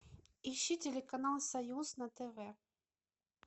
ищи телеканал союз на тв